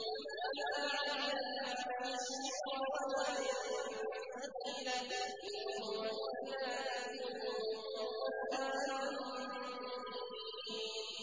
وَمَا عَلَّمْنَاهُ الشِّعْرَ وَمَا يَنبَغِي لَهُ ۚ إِنْ هُوَ إِلَّا ذِكْرٌ وَقُرْآنٌ مُّبِينٌ